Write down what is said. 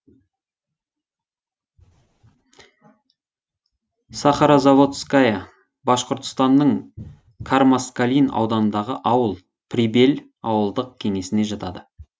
сахарозаводская башқұртстанның кармаскалин ауданындағы ауыл прибель ауылдық кеңесіне жатады